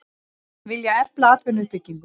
Vilja efla atvinnuuppbyggingu